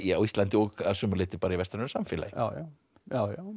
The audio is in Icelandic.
á Íslandi og að sumu leyti bara í vestrænu samfélagi já já já